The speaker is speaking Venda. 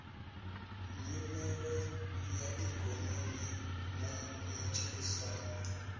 nyimele ya ikonomi na matshilisano